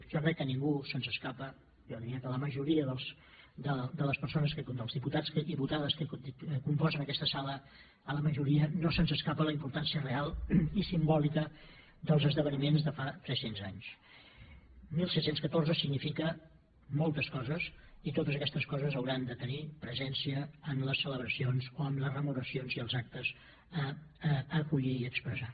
jo crec que a ningú se’ns escapa jo diria que a la majoria de les persones dels diputats i diputades que componen aquesta sala a la majoria no se’ns escapa la importància real i simbòlica dels esdeveniments de fa tres cents anys disset deu quatre significa moltes coses i totes aquestes coses hauran de tenir presència en les celebracions o en les rememoracions i els actes a acollir i a expressar